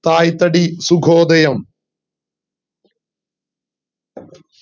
സായി തടി സുഗോദയം